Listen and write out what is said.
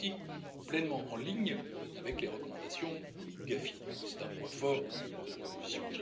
Elle est aussi pleinement en ligne avec les recommandations du GAFI et c'est un point fort de la proposition.